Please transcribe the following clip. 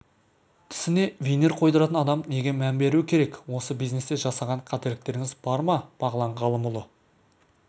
тісіне винир қойдыратын адам неге мән беруі керек осы бизнесте жасаған қателіктеріңіз бар ма бағлан ғалымұлы